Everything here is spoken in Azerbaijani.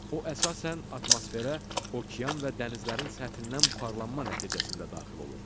O əsasən atmosferə okean və dənizlərin səthindən buxarlanma nəticəsində daxil olur.